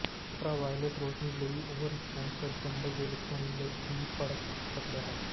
ultraviolet ਰੋਸ਼ਨੀ ਲਈ overexposure ਚੰਬਲ ਦੇ ਲੱਛਣਾਂ ਦੀ ਭੜਕ ਉੱਠ ਸਕਦਾ ਹੈ